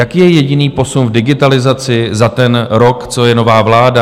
Jaký je jediný posun v digitalizaci za ten rok, co je nová vláda?